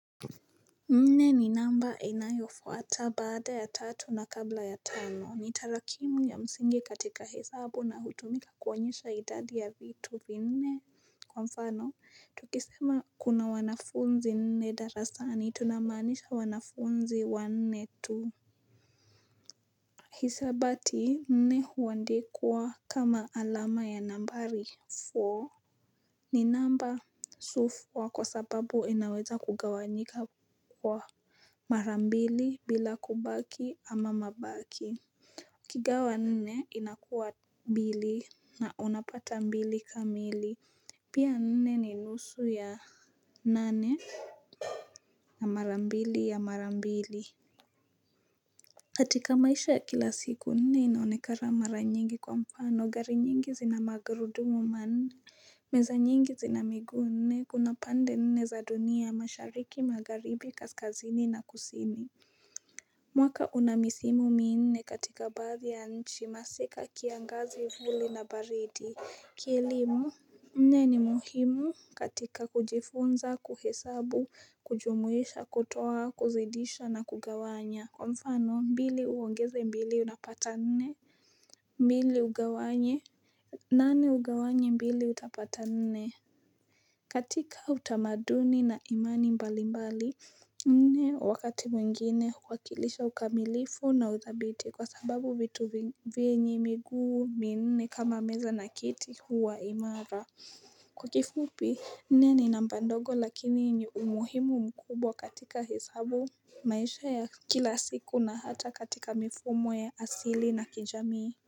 Nne ni namba inayofuata baada ya tatu na kabla ya tano ni tarakimu ya msingi katika hesabu na hutumika kuonyesha idadi ya vitu vinne kwa mfano tukisema kuna wanafunzi nne darasani tunamanisha wanafunzi wanne tu Hisabati nne huandikwa kama alama ya nambari four ni namba sufwa kwa sababu inaweza kugawanyika kwa mara mbili bila kubaki ama mabaki ukigawa nne inakuwa mbili na unapata mbili kamili Pia nne ni nusu ya nane na mara mbili ya mara mbili katika maisha ya kila siku nne inaonekana mara nyingi kwa mfano gari nyingi zina magarudumu manne meza nyingi zina miguu nne kuna pande nne za dunia mashariki magharibi kaskazini na kusini mwaka unamisimu miinne katika baadhi ya nchi masika kiangazi vuli na baridi kilimu nne ni muhimu katika kujifunza kuhesabu kujumuisha kutoa kuzidisha na kugawanya kwa mfano mbili uongeze mbili unapata nne mbili ugawanye nane ugawanye mbili utapata nne katika utamaduni na imani mbali mbali nne wakati mwingine huakilisha ukamilifu na uthabiti kwa sababu vitu venye miguu minne kama meza na kiti huwa imara Kwa kifupi nne namba ndogo lakini yenye umuhimu mkubwa katika hesabu maisha ya kila siku na hata katika mifumo ya asili na kijamii.